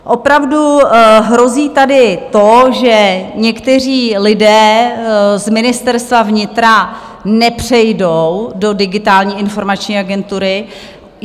Opravdu hrozí tady to, že někteří lidé z Ministerstva vnitra nepřejdou do Digitální informační agentury.